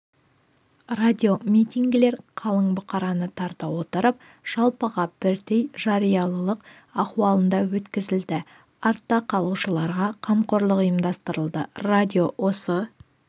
радиомитингілер қалың бұқараны тарта отырып жалпыға бірдей жариялылық ахуалында өткізілді артта қалушыларға қамқорлық ұйымдастырылды радио осы